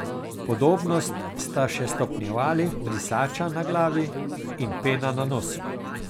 Podobnost sta še stopnjevali brisača na glavi in pena na nosu.